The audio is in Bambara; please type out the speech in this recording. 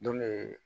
Dunnen